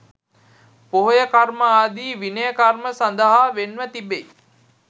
පොහොය කර්ම ආදී විනය කර්ම සඳහා වෙන්ව තිබෙයි.